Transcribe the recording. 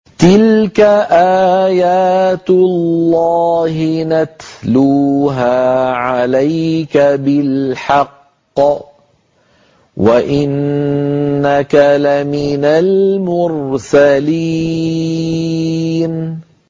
تِلْكَ آيَاتُ اللَّهِ نَتْلُوهَا عَلَيْكَ بِالْحَقِّ ۚ وَإِنَّكَ لَمِنَ الْمُرْسَلِينَ